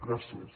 gràcies